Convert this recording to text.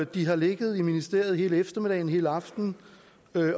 de har ligget i ministeriet hele eftermiddagen hele aftenen